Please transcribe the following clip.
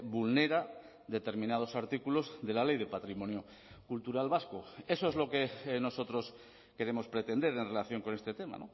vulnera determinados artículos de la ley de patrimonio cultural vasco eso es lo que nosotros queremos pretender en relación con este tema